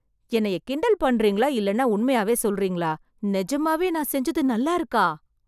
என்னய கிண்டல் பண்றீங்களா இல்லைனா உண்மையாவே சொல்றீங்களா? நிஜமாவே நான் செஞ்சது நல்லா இருக்கா?